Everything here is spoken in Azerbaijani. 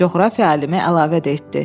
Coğrafiya alimi əlavə etdi.